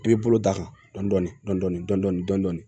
I bɛ bolo da kan dɔni dɔni dɔni dɔni